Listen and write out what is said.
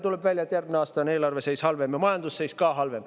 Tuleb välja, et järgmisel aastal on eelarve seis halvem ja ka majanduse seis halvem.